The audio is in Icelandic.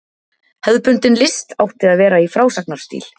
Hefðbundin list átti að vera í frásagnarstíl.